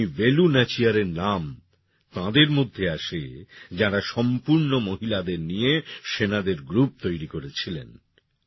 রানী বেলু নাচিয়ারের নাম তাঁদের মধ্যে আসে যাঁরা সম্পূর্ন মহিলাদের নিয়ে সেনাদের গ্রুপ তৈরী করেছিলেন